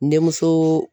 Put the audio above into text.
Denmuso